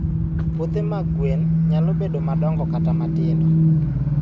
Puothe mag gwen nyalo bedo madongo kata matindo.